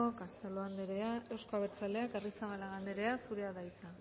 castelo anderea euzko abertzaleak arrizabalaga anderea zurea da hitza